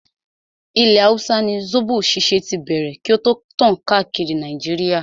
Ilẹ̀ hausa ni zobo ṣíṣe tí bẹ̀rẹ̀ kí o tó tàn káàkiri Nàìjíríà.